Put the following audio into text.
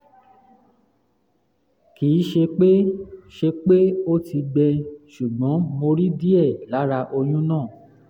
kì í ṣe pé ṣe pé ó ti gbẹ ṣùgbọ́n mo rí díẹ̀ lára ọyún náà